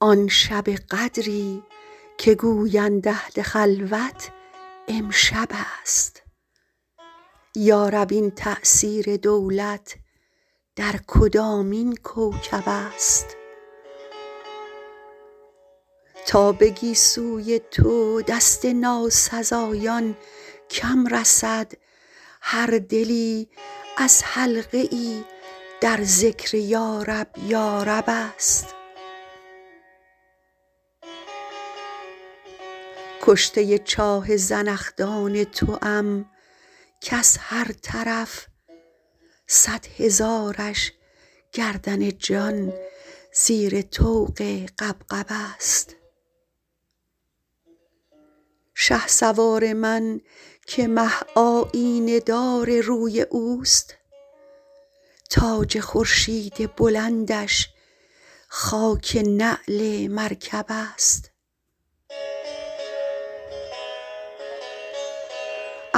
آن شب قدری که گویند اهل خلوت امشب است یا رب این تأثیر دولت در کدامین کوکب است تا به گیسوی تو دست ناسزایان کم رسد هر دلی از حلقه ای در ذکر یارب یارب است کشته چاه زنخدان توام کز هر طرف صد هزارش گردن جان زیر طوق غبغب است شهسوار من که مه آیینه دار روی اوست تاج خورشید بلندش خاک نعل مرکب است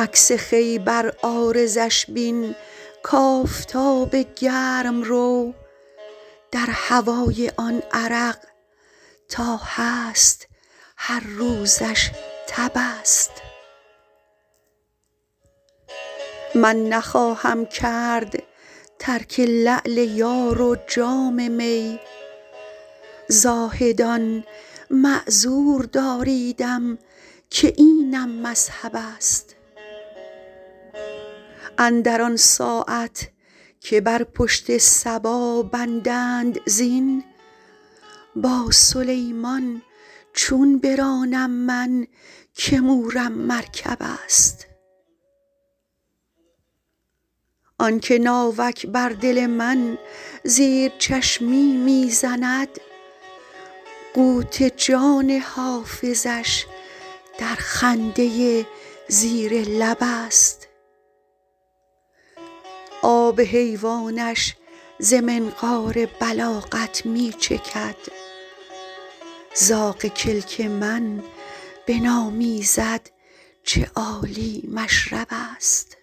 عکس خوی بر عارضش بین کآفتاب گرم رو در هوای آن عرق تا هست هر روزش تب است من نخواهم کرد ترک لعل یار و جام می زاهدان معذور داریدم که اینم مذهب است اندر آن ساعت که بر پشت صبا بندند زین با سلیمان چون برانم من که مورم مرکب است آن که ناوک بر دل من زیر چشمی می زند قوت جان حافظش در خنده زیر لب است آب حیوانش ز منقار بلاغت می چکد زاغ کلک من بنامیزد چه عالی مشرب است